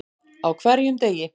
Á hverjum degi.